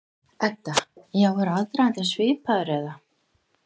Edda: Já, er aðdragandinn svipaður eða?